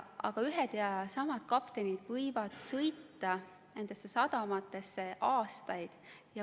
Aga ühed ja samad kaptenid võivad sõita nendesse sadamatesse aastaid.